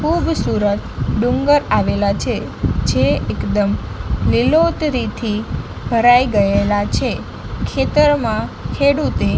ખૂબસૂરત ડુંગર આવેલા છે જે એકદમ લીલોતરીથી ભરાઈ ગયેલા છે ખેતરમાં ખેડૂતે--